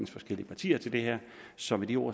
forskellige partier til det her så med de ord